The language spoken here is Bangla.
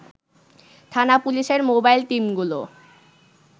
থানা পুলিশের মোবাইল টিমগুলো